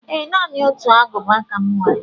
Ee. Naanị otu Agụba ka m nwere